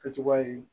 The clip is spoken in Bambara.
Kɛcogoya ye